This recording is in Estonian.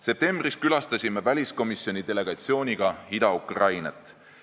Septembris külastasime väliskomisjoni delegatsiooniga Ida-Ukrainat.